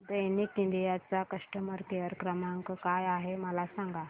Daikin India चा customer care क्रमांक काय आहे मला सांगा